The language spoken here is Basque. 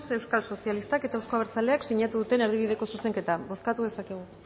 euskal sozialistak eta euzko abertzaleak sinatu duten erdibideko zuzenketa bozkatu dezakegu